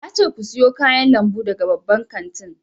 Na ce ku siyo kayan lambu daga babban kantin!